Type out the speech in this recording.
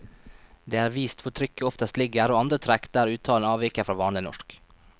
Det er vist hvor trykket oftest ligger, og andre trekk der uttalen avviker fra vanlig norsk.